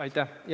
Aitäh!